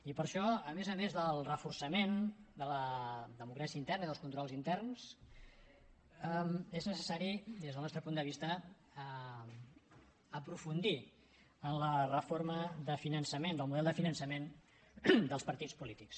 i per això a més a més del reforçament de la democràcia interna i dels controls interns és necessari des del nostre punt de vista aprofundir en la reforma de finançament del model de finançament dels partits polítics